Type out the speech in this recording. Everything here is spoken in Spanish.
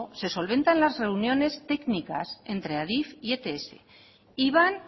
se solventa en la reuniones técnicas entre adif y ets y van